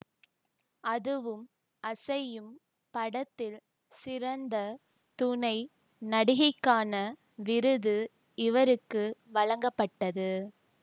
அதுவும் அசையும் படத்தில் சிறந்த துணை நடிகைக்கான விருது இவருக்கு வழங்கப்பட்டது